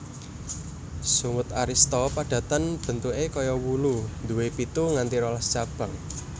Sungut arista padatan bentuké kaya wulu nduwé pitu nganti rolas cabang